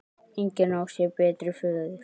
Engin á sér betri föður.